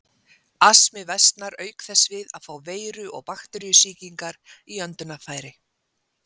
Astmi versnar auk þess við að fá veiru- og bakteríusýkingar í öndunarfæri.